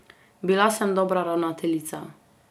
Bila sem dobra ravnateljica.